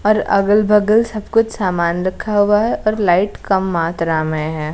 और अगल-बगल सब कुछ सामान रखा हुआ है और लाइट कम मात्रा में है।